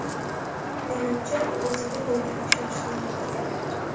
Menimcha, u o‘ziga bo‘lgan ishonchni yo‘qotgan.